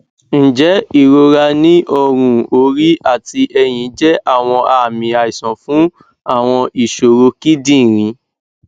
njẹ irora ni ọrun ori ati ẹhin jẹ awọn aami aisan fun awọn iṣoro kidinrin